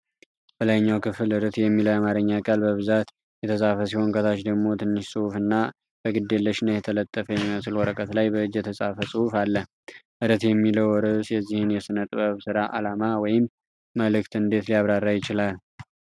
በላይኛው ክፍል "ርትዕ" የሚለው የአማርኛ ቃል በብዛት የተጻፈ ሲሆን፣ ከታች ደግሞ ትንሽ ጽሁፍ እና በግዴለሽነት የተለጠፈ የሚመስል ወረቀት ላይ በእጅ የተጻፈ ጽሑፍ አለ።"ርትዕ" የሚለው ርዕስ የዚህን የሥነ-ጥበብ ሥራ ዓላማ ወይም መልዕክት እንዴት ሊያብራራ ይችላል?